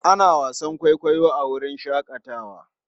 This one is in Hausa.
Ana wasan kwaikwayo a wurin shakatawa.